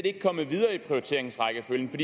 ikke kommet videre i prioriteringsrækkefølgen for